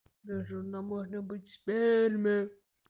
даже на можно быть сперме